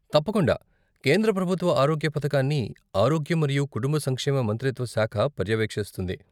తప్పకుండా. కేంద్ర ప్రభుత్వ ఆరోగ్య పథకాన్ని ఆరోగ్యం మరియు కుటుంబ సంక్షేమ మంత్రిత్వ శాఖ పర్యవేక్షిస్తుంది.